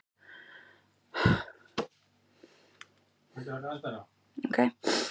Boltinn sé því hjá stjórnvöldum